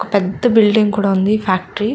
ఒక పెద్ద బిల్డింగ్ కూడా ఉంది. ఫ్యాక్టరీ --